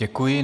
Děkuji.